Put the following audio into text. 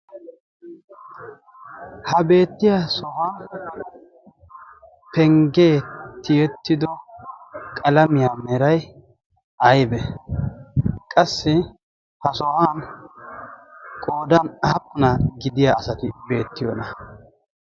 ha beettiya sohan penggee tiyettido qalamiyaa meray aybe qassi ha sohan qoodan aappuna gidiya asati beettiyoona